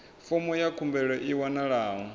fomo ya khumbelo i wanalaho